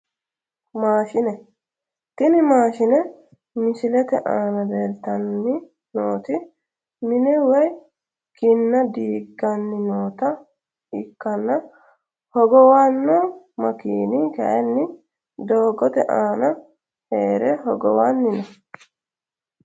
Maashine tini maashine misilete aana leeltani nooti mine woyi kinna diigani noota ikiyana hogowano makiini kayini doogote aana here hogowani no.